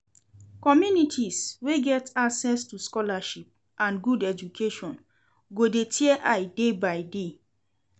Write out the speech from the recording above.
Communities wey get access to scholarships and good education go de tear eye day by day